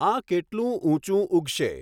આ કેટલું ઊંચું ઊગશે?